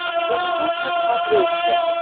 голливуд на смотрешке